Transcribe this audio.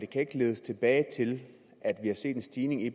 kan ikke ledes tilbage til at vi har set en stigning i